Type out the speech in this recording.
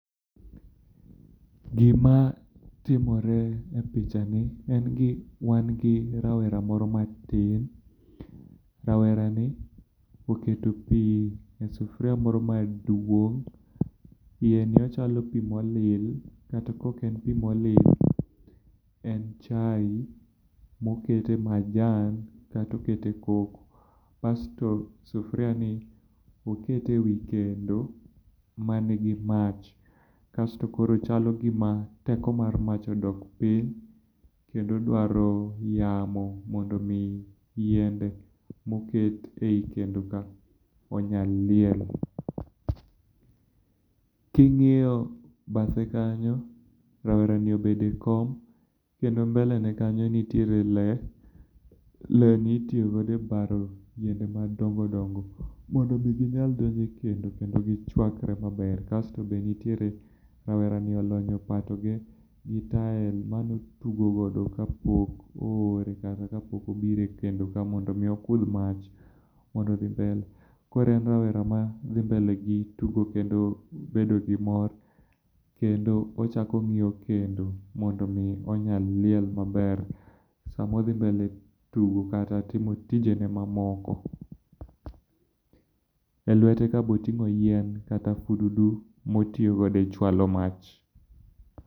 Gima timore e pichani, en gi wan gi rawera moro matin. Rawerani oketo pi e sufuria moro maduong', iyeni ochalo pi moli kata ka ok en pi moli, en chai mokete majan kata okete koko. Basto sufuria oket e kendo m,an gi mach, kasto koro chalo gima teko mar mach odok piny, kendo dwaro yamo mondo mi yiende moket ei kendoka onyal liel. King'iyo bathe kanyo, rawera obedo ekom, kendo mbele ne kanyo nitiere le, le ni itiyo godo ebaro yiende madongo dongo mondo mi ginyal donjo e kendo, kendo gichuakre maber. Kaeto be nitiee rawerani olonyo opato ge gi tael mane otugo godo kapok oore kata kapok obiro ekendo ka mondo mi okudh mach mondo mi odhi mbele. Koro en rawera ma dhi mbele gi tugo kendo bedo gi mor kendo ochako ong'iyo kendo mondo mi onyal liel maber sama odhi mbele tugo kata timo tinjene mamoko. Elwete ka be oting'o yien kata fududu ma otiyo godo e chwalo mach.